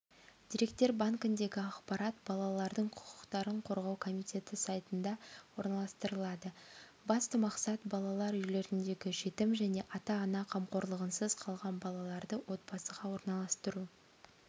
деректер банкіндегі ақпарат балалардың құқықтарын қорғау комитеті сайтында орналастырылады басты мақсат балалар үйлеріндегі жетім және ата-ана қамқорлығынсыз қалған балаларды отбасыға орналастыру